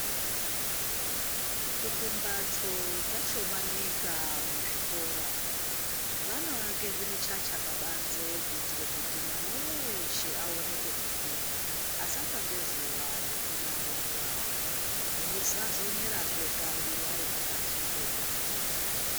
Kuti mbatso dzashomanika muzvikora, vanoake zvimichacha pabanze kuitre kuti mwana weeshe aone pekupinda, asatsva ngezuva ngekunaiwa. Esazonyerazve kanyi ari pakati pekufunda.